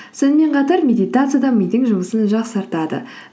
сонымен қатар медитация да мидың жұмысын жақсартады